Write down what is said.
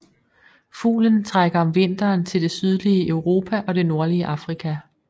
Fuglen trækker om vinteren til det sydlige Europa og det nordlige Afrika